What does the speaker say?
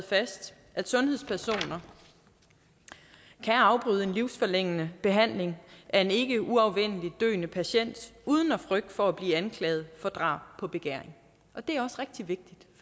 fast at sundhedspersoner kan afbryde en livsforlængende behandling af en ikkeuafvendeligt døende patient uden frygt for at blive anklaget for drab på begæring og det